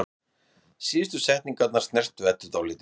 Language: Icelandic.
Síðustu setningarnar snertu Eddu dálítið.